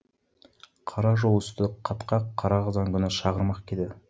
қара жол үсті қатқақ қара қазан күні шағырмақ еді